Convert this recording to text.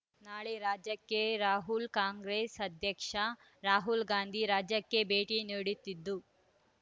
ನಾಳೆ ರಾಜ್ಯಕ್ಕೆ ರಾಹುಲ್ ಕಾಂಗ್ರೆಸ್ ಅಧ್ಯಕ್ಷ ರಾಹುಲ್‌ಗಾಂಧಿ ರಾಜ್ಯಕ್ಕೆ ಭೇಟಿ ನೀಡುತ್ತಿದ್ದು